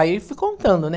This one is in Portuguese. Aí eu fui contando, né?